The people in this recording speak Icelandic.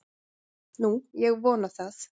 Nú, ég vona það.